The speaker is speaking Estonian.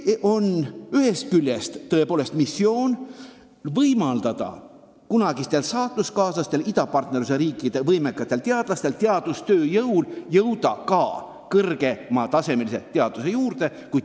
See tähendab ühest küljest ka missiooni võimaldada kunagistel saatuskaaslastel, idapartnerluse riikide võimekatel teadlastel jõuda ka kõrgel tasemel teaduse juurde.